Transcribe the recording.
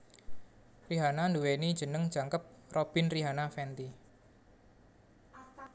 Rihanna nduwèni jeneng jangkep Robyn Rihanna Fenty